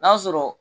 N'a sɔrɔ